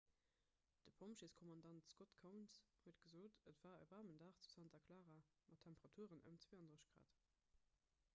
de pompjeeskommandant scott kouns huet gesot: et war e waarmen dag zu santa clara mat temperaturen ëm 32 °c